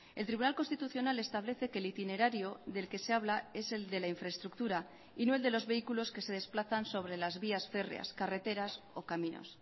el tribunal constitucional establece que el itinerario del que se habla es el de la infraestructura y no el de los vehículos que se desplazan sobre las vías férreas carreteras o caminos